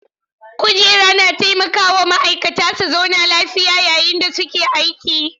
Kujeru na taimaka wa ma'aikata su zauna lafiya yayin da suke aiki.